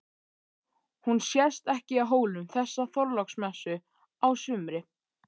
Hún sést ekki á Hólum þessa Þorláksmessu á sumri.